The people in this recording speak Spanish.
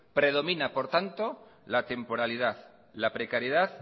predomina por tanto la temporalidad la precariedad